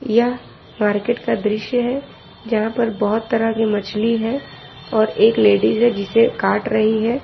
यह मार्केट का दृश्य है जहां पर बहोत तरह की मछली है और एक लेडिस है जिसे काट रही है।